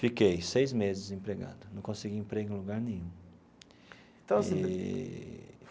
Fiquei seis meses desempregado, não consegui emprego em lugar nenhum eee.